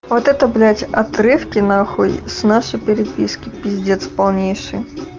вот это блять отрывки нахуй с нашей переписки пиздец полнейший